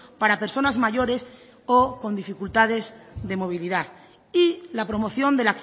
para personas mayores o con dificultades de movilidad y la promoción de